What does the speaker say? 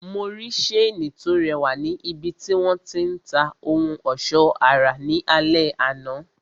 Mo rí seeni to rẹwà ni ibiti wọn ti ń ta ohun ọsọ ara ní alẹ àná.